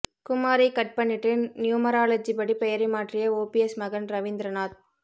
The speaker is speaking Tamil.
குமாரை கட் பண்ணிட்டு நியூமராலஜி படி பெயரை மாற்றிய ஓபிஎஸ் மகன் ரவீந்திரநாத்